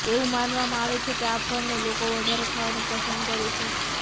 એવું માનવામાં આવે છે કે આ ફળને લોકો વધારે ખાવાનું પણ પસંદ કરે છે